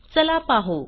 चला पाहू